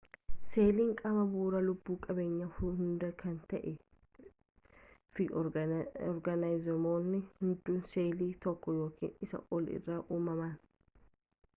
seeliin qaama bu'uuraa lubbu qabeeyyii hundaa kan ta'ee fi oorgaanizimoonni hundis seelii tokko yookaan isaa ol irraa uumaman